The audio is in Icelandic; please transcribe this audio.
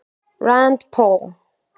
Rand Paul